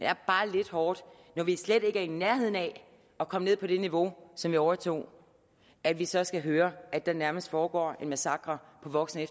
er bare lidt hårdt når vi slet ikke er i nærheden af at komme ned på det niveau som vi overtog at vi så skal høre at der nærmest foregår en massakre på voksen